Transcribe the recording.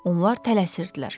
Onlar tələsirdilər.